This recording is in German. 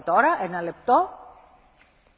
Frau Präsidentin, Herr Kommissar!